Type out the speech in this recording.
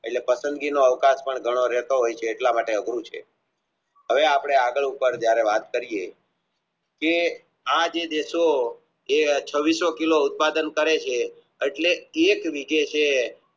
એટલે પસંદી નો અવકાશ પણ ઘણો રહેતો હોય છે એટલા માટે અઘરું છે હવે આપણે આગળ વાત કરીયે કે આજે દેશો જે છવ્વીસો કિલો ઉત્પાદન કરે છે એટલી એક